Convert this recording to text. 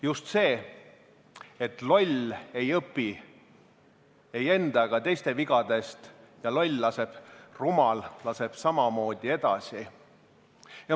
Just see, et loll ei õpi ei enda ega teiste vigadest ja loll, rumal laseb samamoodi edasi.